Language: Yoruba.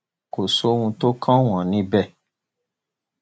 kò sí ohun tó kàn wọn níbẹ